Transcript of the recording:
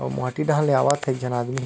अऊ माटी डाहन ले आवत हे एक झन आदमी ह।